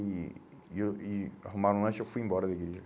E e eu e arrumaram um lanche, eu fui embora da igreja.